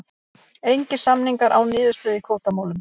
Engir samningar án niðurstöðu í kvótamálum